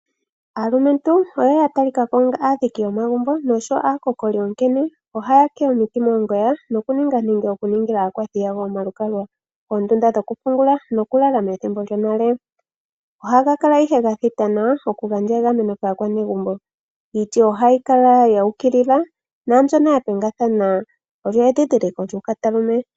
Aalumentu oya talika ko onga aadhiki yomagumbo nosho aakokoli, onkene ohaya tete iiti moongoya nokuningila aakwathi yawo omalukalwa, oondunda dhokupungula nokulala methimbo lyonale. Ohaga kala ihe ga thita nawa, opo ga gandje egameno kaanegumbo. Iiti ohayi kala yu ukilila naambyoka ye endeka olyo edhindhiliko lyuukatalume.